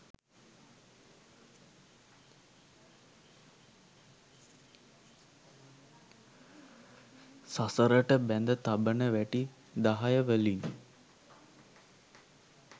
සසරට බැඳ තබන වැටි දහය වලින්